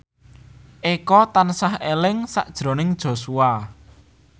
Eko tansah eling sakjroning Joshua